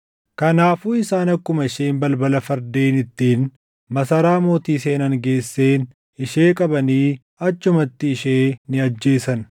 Kanaafuu isaan akkuma isheen balbala fardeen ittiin masaraa mootii seenan geesseen ishee qabanii achumatti ishee ni ajjeesan.